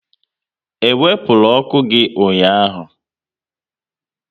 E wepụrụ ọkụ gị ụnyaahụ?